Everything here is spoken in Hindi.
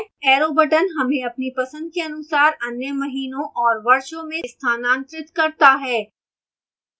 arrow buttons हमें अपनी पसंद के अनुसार अन्य महीनों और वर्षों में स्थानांतरित करता है